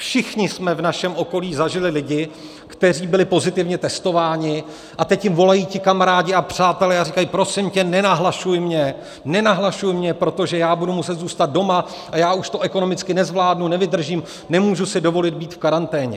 Všichni jsme v našem okolí zažili lidi, kteří byli pozitivně testováni, a teď jim volají ti kamarádi a přátelé a říkají: Prosím tě, nenahlašuj mě, nenahlašuj mě, protože já budu muset zůstat doma a já už to ekonomicky nezvládnu, nevydržím, nemůžu si dovolit být v karanténě.